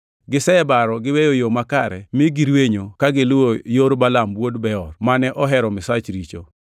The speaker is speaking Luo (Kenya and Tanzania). Gisebaro giweyo yo makare mi girwenyo ka giluwo yor Balaam wuod Beor, mane ohero misach richo.